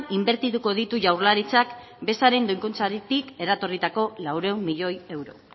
inbertituko ditu jaurlaritzaren bezaren doikuntzatik eratorritako laurehun milioi euro